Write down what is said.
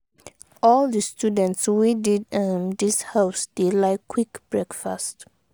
all di students wey dey um dis house dey like quick breakfast.